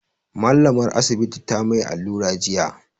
Mallamar Asibitin ta mai allura jiya.